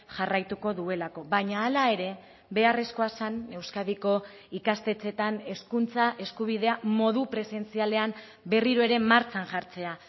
jarraituko duelako baina hala ere beharrezkoa zen euskadiko ikastetxeetan hezkuntza eskubidea modu presentzialean berriro ere martxan jartzea